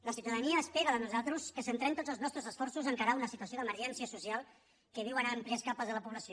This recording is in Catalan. la ciutadania espera de nosaltres que centrem tots els nostres esforços a encarar una situació d’emergència social que viuen àmplies capes de la població